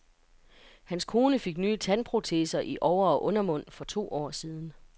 Hans kone fik nye tandproteser i over- og undermund for to år siden.